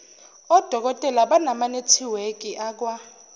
odokotela bamanethiwekhi akwa